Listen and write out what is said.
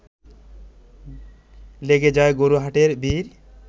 লেগে যায় গরু-হাটের ভিড়